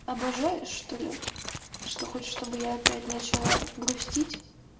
обожаешь что-ли что хочешь чтобы я опять начала грустить